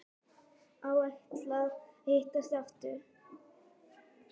Áætlað að hittast aftur?